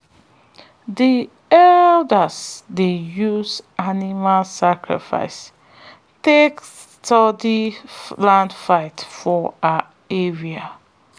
the elders dey use animal sacrifice take settle land fight for our area.